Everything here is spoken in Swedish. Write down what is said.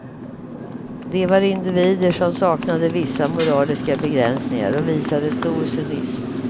De var individer som saknade vissa moraliska begränsningar och visade stor cynism.